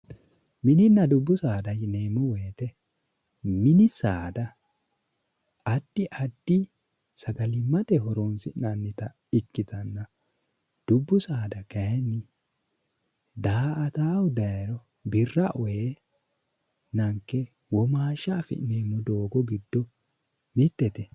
Mininna dubbu saada yineemmo woyte ,mini saada addi addi sagalimmate horonsi'nannitta ikkittanna dubbu saada kayinni daa"attahu daayiro birra e'ee daa"attanota womaashsha affi'neemmo doogo giddo mitete.